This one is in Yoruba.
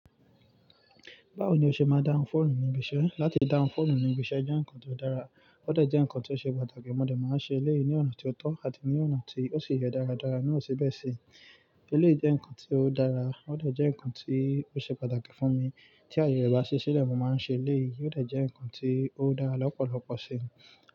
Báwo ni o ṣe máa dáhùn fóònù ní ibi iṣẹ́? Láti dáhùn fóònù ní ibi iṣẹ́ jẹ́ nǹkan ti ó dára, ó dẹ̀ jẹ́ nǹkan ti o ó ṣe pàtàkì. Mo dẹ̀ máa ń ṣe eléyìí ní ọ̀nà ti o tọ́ àti ní ọ̀nà tí ó sì yẹ dáradára naa sẹ̀ bẹ́ẹ̀ sí. Eléyìí jẹ́ nǹkan ti ó dára, ó dẹ̀ jẹ́ nǹkan tí ó ṣe pàtàkì fún mi. Tí aye rẹ o bá si, síbẹ̀ mo máa ń ṣe eléyìí, yóò dẹ̀ jẹ́ nǹkan tí ó dára lọ́pọ̀lọpọ̀ si.